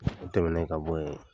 O tɛmɛnen ka bɔ yen.